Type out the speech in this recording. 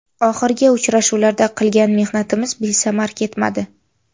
Oxirgi uchrashuvlarda qilgan mehnatimiz besamar ketmadi.